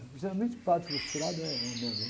Geralmente padre frustrado é uma merda, né?